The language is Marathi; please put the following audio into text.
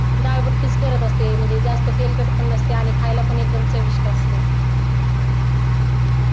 डाळ भट्टीचं करत असते म्हणजे एकदम तेलकट पण असते आणि एकदम चविष्ट पण असते